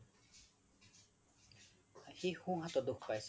সি শোহ হাতত দোষ পাইছে